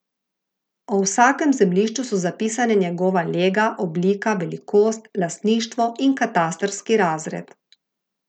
O vsakem zemljišču so zapisane njegova lega, oblika, velikost, lastništvo in katastrski razred.